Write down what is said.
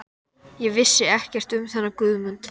Ég vissi ekkert um þennan Guðmund